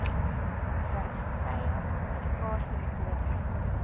ver skeie kommunikasiemetodes